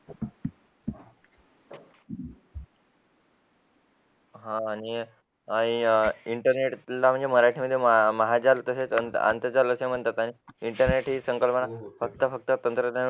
आणि इंटरनेटला म्हणजे मराठी महाजाल तसेच आंतरजाल असे म्हणतात आणि इंटरनेट ही संकल्पना फक्त फक्त तंत्रज्ञान